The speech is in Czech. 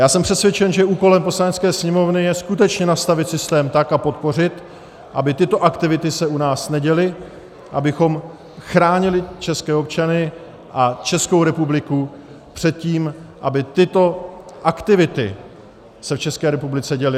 Já jsem přesvědčen, že úkolem Poslanecké sněmovny je skutečně nastavit systém tak, a podpořit, aby tyto aktivity se u nás neděly, abychom chránili české občany a Českou republiku před tím, aby tyto aktivity se v České republice děly.